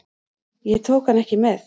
Ég tók hann ekki með.